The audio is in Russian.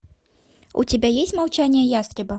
у тебя есть молчание ястреба